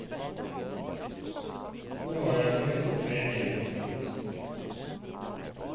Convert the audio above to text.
Nå har jeg begynt å trene igjen også.